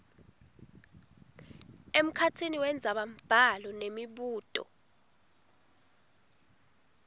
emkhatsini wendzabambhalo nemibuto